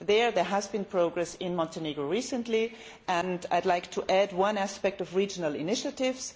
Here, there has been progress in Montenegro recently and I would like to add one aspect of regional initiatives.